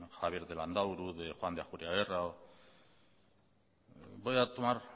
javier de landaburu de juan de ajuriagerra voy a tomar